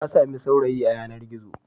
Ta sami saurayi a yanar-gizo.